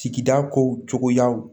Sigida kow cogoya